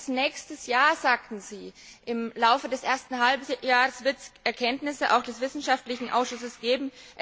Erst bis nächstes Jahr, sagen Sie, im Laufe des ersten Halbjahres wird es Erkenntnisse auch des wissenschaftlichen Ausschusses geben.